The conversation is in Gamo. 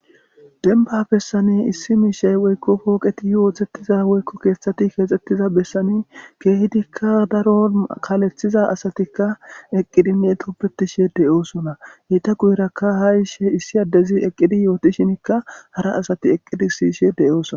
denba bessane issi miishay woykko pooqeti yooththettiza woykko keeththati keexxettiza bessani keehidikka daro kalethiza asatikka eqqidinne toppetishe deyoosona heyta guyrakka ha ishe issi addezi eqqidi yooti shinikka hara asati eqqidi siishe deyoosona